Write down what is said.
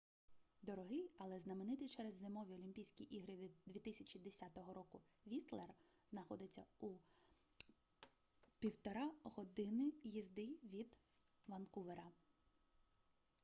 дорогий але знаменитий через зимові олімпійські ігри 2010 року вістлер знаходиться у 1,5 години їзди від ванкувера